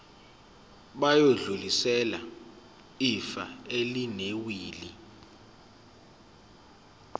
bayodlulisela ifa elinewili